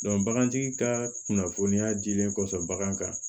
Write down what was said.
bagantigi ka kunnafoniya dilen kɔfɛ bagan kan